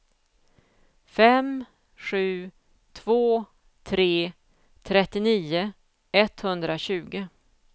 fem sju två tre trettionio etthundratjugo